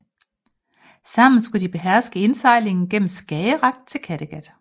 Sammen skulle de beherske indsejlingen gennem Skagerrak til Kattegat